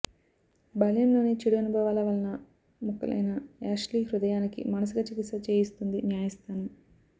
బాల్యంలోని చెడు అనుభవాల వలన ముక్కలైన యాష్లీ హృదయానికి మానసిక చికిత్స చేయిస్తుంది న్యాయస్థానం